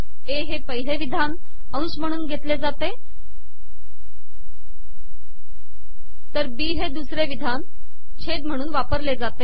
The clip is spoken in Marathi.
ए हे पिहले िवधान अंश महणून घेतले जाते तर बी हे दूसरे िवधान छेद महणून वापरले जाते